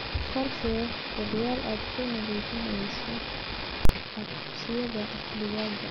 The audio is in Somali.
Qorshee jadwal aad ku nadiifinayso coobsiyada digaaga.